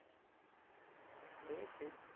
সে ঠিক